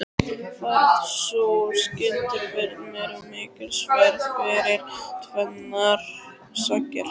Varð sú skyndiferð mér mikilsverð fyrir tvennar sakir.